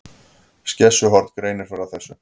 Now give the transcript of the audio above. Skessuhorn greinir frá þessu